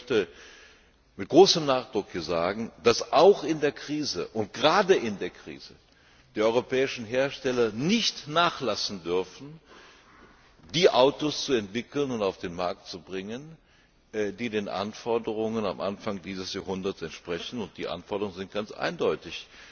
Ich möchte mit großen Nachdruck sagen, dass auch in der Krise und gerade in der Krise die europäischen Hersteller nicht nachlassen dürfen, die Autos zu entwickeln und auf den Markt zu bringen, die den Anforderungen am Anfang dieses Jahrhunderts entsprechen, und die Anforderungen sind ganz eindeutig.